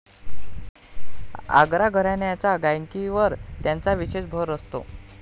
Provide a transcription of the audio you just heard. आग्रा घराण्याच्या गायकीवर त्यांचा विशेष भर असतो.